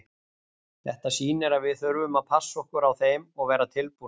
Þetta sýnir að við þurfum að passa okkur á þeim og vera tilbúnir.